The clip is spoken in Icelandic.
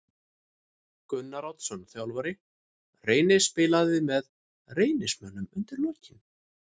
Gunnar Oddsson þjálfari Reynis spilaði með Reynismönnum undir lokin.